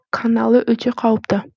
қаналы өте қауіпті